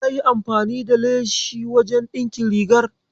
Yayi amfani da leshin wajen ɗinkin rigar?